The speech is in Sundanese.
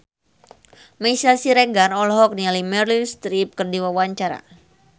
Meisya Siregar olohok ningali Meryl Streep keur diwawancara